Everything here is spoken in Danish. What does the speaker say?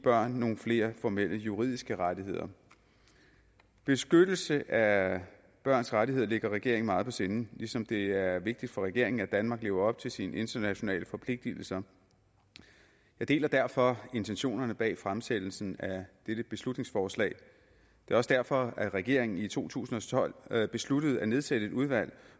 børn nogle flere formelle juridiske rettigheder beskyttelse af børns rettigheder ligger regeringen meget på sinde ligesom det er vigtigt for regeringen at danmark lever op til sine internationale forpligtelser jeg deler derfor intentionerne bag fremsættelsen af dette beslutningsforslag det er også derfor at regeringen i to tusind og tolv besluttede at nedsætte et udvalg